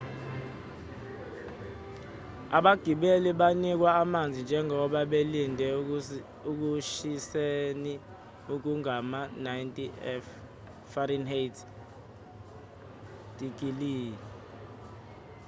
abagibeli banikwa amanzi njengoba belinde ekushiseni okungama-90f-digiliyi